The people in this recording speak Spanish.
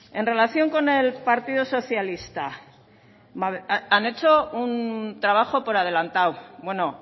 en relación con el partido socialista han hecho un trabajo por adelantado bueno